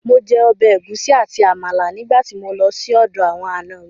Mo jẹ ọbẹ̀ ẹ̀gúsí àti Àmàlà nígbà tí mo lọ sí ọ̀dọ̀ àwọn ànọ mi